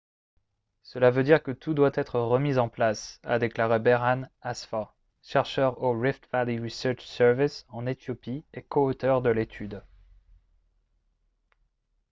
« cela veut dire que tout doit être remis en place » a déclaré berhane asfaw chercheur au rift valley research service en éthiopie et co-auteur de l'étude